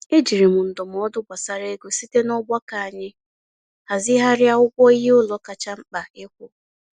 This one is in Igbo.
E jiri m ndụmọdụ gbasara ego site n'ọgbakọ anyị hazịghari ụgwọ iheụlọ kacha mkpa ịkwụ.